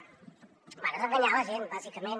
bé és enganyar la gent bàsicament